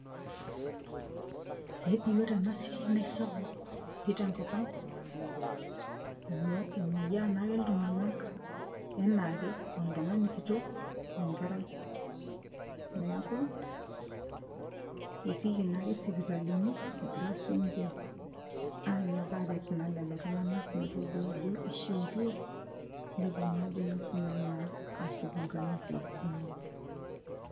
eepi ore ena siai naa isapuk pii tenkop ang' amu emoyiaa naake iltung'anak enaake oltung'ani kitok wenkerai neeku etiiki naake isipitalini egira sinche anyok aret naa lelo tung'anak metodua ajo ishiutuo nepuo naa ajo sinanu naa ashuko nkang'itie enye.